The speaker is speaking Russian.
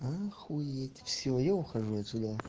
охуеть всё я ухожу отсюда